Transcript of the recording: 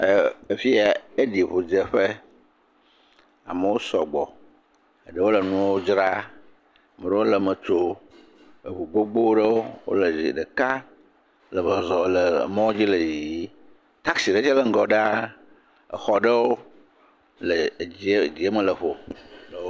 ɛɛ fi yɛ, eɖi ŋudzeƒe. Amewo sɔgbɔ. Eɖewo le nuɔ dzraa. Meɖewo lee me tsoo. Eŋu ɖeka le zɔzɔ le mɔdzi le yiyii. Taksi ɖe tsɛ le ŋgɔ ɖaa. Exɔ ɖe le dzie dzieme lɔƒo le wo,